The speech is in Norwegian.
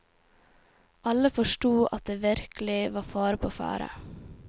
Alle forsto at det virkelig var fare på ferde.